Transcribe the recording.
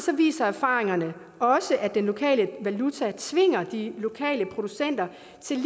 viser erfaringerne også at den lokale valuta tvinger de lokale producenter